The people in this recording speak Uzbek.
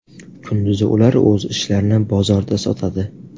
Kunduzi ular o‘z ishlarini bozorda sotadi.